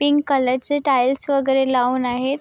Pink colour चे tiles वेगेरे लाऊन आहेत.